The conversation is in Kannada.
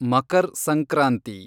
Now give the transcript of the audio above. ಮಕರ್ ಸಂಕ್ರಾಂತಿ